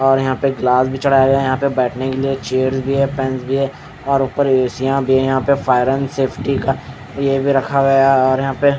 और यहाँ पे ग्लास भी चढ़ा रहे हैं यहाँ बैठने के लिए चेयर भी हैं फन भी हैं और उप्पर एसी या भी ऊपर फायर एण्ड सैफटी का ये भी रखा गया है और यहाँ पे--